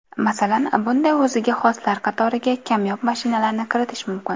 Masalan, bunday o‘ziga xoslar qatoriga kamyob mashinalarni kiritish mumkin.